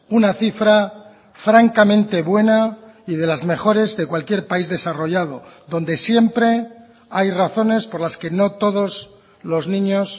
una cifra francamente buena y de las mejores de cualquier país desarrollado donde siempre hay razones por las que no todos los niños